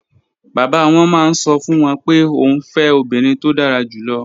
Bàbá wọn máa ń sọ fún wọn pé òun fẹ́ obìnrin tó dára jù lọ.